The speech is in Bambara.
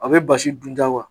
A be basi dun ja wa?